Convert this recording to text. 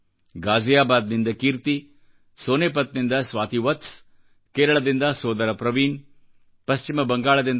ಗಾಜಿಯಾಬಾದ್ನಿಂದ ಕೀರ್ತಿ ಸೋನಿಪತ್ನಿಂದ ಸ್ವಾತಿ ವತ್ಸ್ಕೇರಳದಿಂದ ಸೋದರ ಪ್ರವೀಣ್ ಪಶ್ಚಿಮ ಬಂಗಾಳದಿಂದ ಡಾ